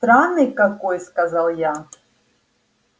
странный какой сказал я